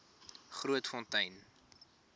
grootfontein